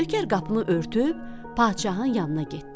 Nökər qapını örtüb padşahın yanına getdi.